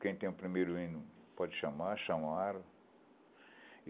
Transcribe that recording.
Quem tem o primeiro hino pode chamar, chamaram.